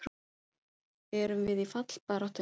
Erum við í fallbaráttunni?